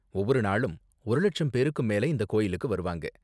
ஒவ்வொரு நாளும் ஒரு லட்சம் பேருக்கும் மேல இந்த கோயிலுக்கு வருவாங்க.